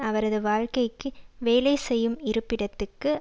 அவரது வாழ்க்கைக்கு வேலை செய்யும் இருப்பிடத்துக்கு